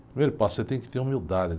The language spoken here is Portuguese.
Primeiro passo, você tem que ter humildade.